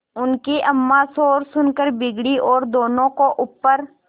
उनकी अम्मां शोर सुनकर बिगड़ी और दोनों को ऊपर